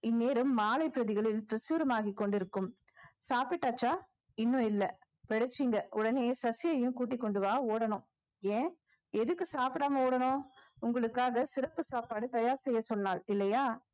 இந்நேரம் மாலைப் பிரதிகளில் ஆகி கொண்டிருக்கும் சாப்பிட்டாச்சா இன்னும் இல்லை உடனே சசியையும் கூட்டிக் கொண்டு வா ஓடணும் ஏன் எதுக்கு சாப்பிடாம ஓடணும் உங்களுக்காக சிறப்பு சாப்பாடு தயார் செய்ய சொன்னால் இல்லையா